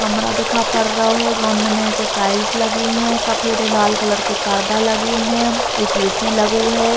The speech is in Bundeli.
कमरा दिखा पड़ो रहो है जोन में नीचे टाइल्स लगे है। सफेद और लाल कलर के पर्दा लगे है। एक ए.सी. लगे है।